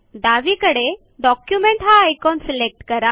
डावीकडे डॉक्युमेंट हा icon select करा